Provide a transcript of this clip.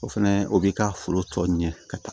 O fɛnɛ o b'i ka foro tɔ ɲɛ ka taa